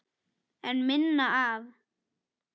En minna af?